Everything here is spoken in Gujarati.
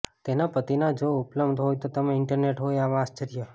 તેના પતિના જો ઉપલબ્ધ હોય તો તમે ઇન્ટરનેટ હોય આવા આશ્ચર્ય